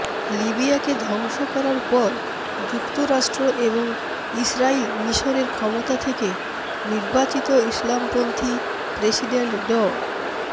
লিবিয়াকে ধ্বংস করার পর যুক্তরাষ্ট্র এবং ইসরাইল মিশরের ক্ষমতা থেকে নির্বাচিত ইসলামপন্থী প্রেসিডেন্ট ড